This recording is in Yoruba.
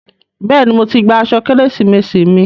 Bẹ́ẹ̀ni, mo ti gba aṣọ Kérésìmesì mi.